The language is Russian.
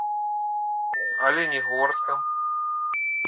оленегорском